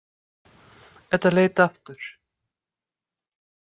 Edda leit aftur.